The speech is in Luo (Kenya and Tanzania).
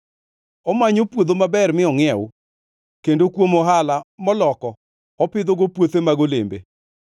Omanyo puodho maber mi ongʼiew, kendo kuom ohala moloko opidhogo puothe mag olembe.